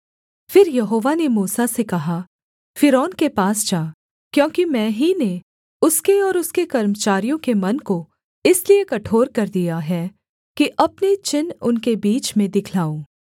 फिर यहोवा ने मूसा से कहा फ़िरौन के पास जा क्योंकि मैं ही ने उसके और उसके कर्मचारियों के मन को इसलिए कठोर कर दिया है कि अपने चिन्ह उनके बीच में दिखलाऊँ